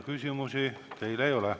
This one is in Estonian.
Küsimusi teile ei ole.